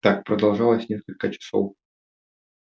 так продолжалось несколько часов